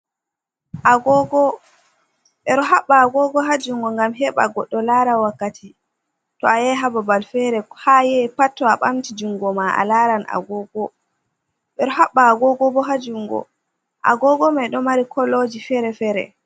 Agogo: Ɓeɗo haɓɓa agogo haa jungo ngam heɓa goɗɗo lara wakkati. To ayahi haa babal fere haa ayahi pat to a ɓamti jungo ma alaran agogo. Ɓeɗo haɓɓa agogo bo haa jungo. Agogo mai ɗo mari koloji fere-fere.